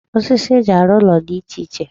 Osisi eji arụ ụlọ di iche iche.